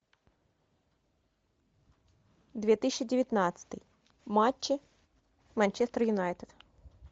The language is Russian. две тысячи девятнадцатый матчи манчестер юнайтед